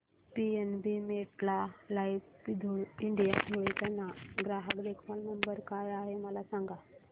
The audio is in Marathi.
पीएनबी मेटलाइफ इंडिया धुळे चा ग्राहक देखभाल नंबर काय आहे मला सांगा